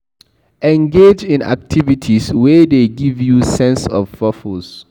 Engage in activities wey dey give you sense of purpose